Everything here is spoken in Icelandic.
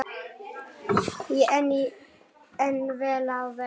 En vel á veg.